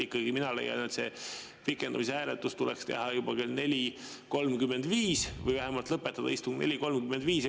Mina leian, et see hääletus tuleks teha juba kell 4.35 või vähemalt lõpetada istung 4.35.